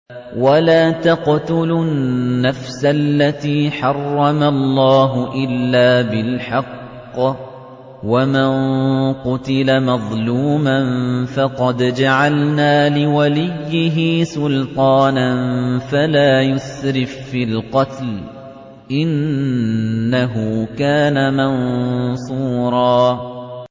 وَلَا تَقْتُلُوا النَّفْسَ الَّتِي حَرَّمَ اللَّهُ إِلَّا بِالْحَقِّ ۗ وَمَن قُتِلَ مَظْلُومًا فَقَدْ جَعَلْنَا لِوَلِيِّهِ سُلْطَانًا فَلَا يُسْرِف فِّي الْقَتْلِ ۖ إِنَّهُ كَانَ مَنصُورًا